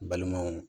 Balimaw